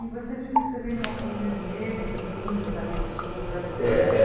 E você disse que você vem de uma família de negros e índios ali do sul do Brasil, né? É É